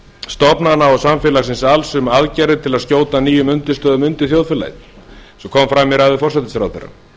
stofnana og samfélagsins alls um aðgerðir til að skjóta nýjum undirstöðum undir þjóðfélagið eins og kom fram í ræðu forsætisráðherra